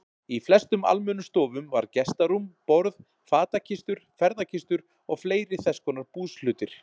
Í flestum almennum stofum var gestarúm, borð, fatakistur, ferðakistur og fleiri þess konar búshlutir.